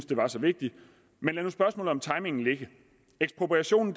det var så vigtigt men lad nu spørgsmålet om timingen ligge ekspropriation